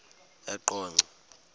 eqonco